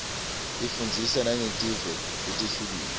ifundzisa nangetive letihlukile